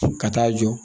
Ka taa jɔ